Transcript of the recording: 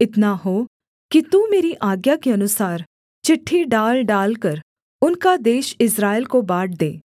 इतना हो कि तू मेरी आज्ञा के अनुसार चिट्ठी डाल डालकर उनका देश इस्राएल को बाँट दे